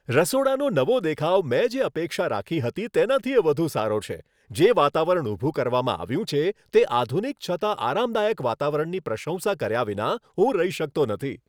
રસોડાનો નવો દેખાવ મેં જે અપેક્ષા રાખી હતી તેનાથીય વધુ સારો છે, જે વાતાવરણ ઊભું કરવામાં આવ્યું છે તે આધુનિક છતાં આરામદાયક વાતાવરણની પ્રશંસા કર્યા વિના હું રહી શકતો નથી.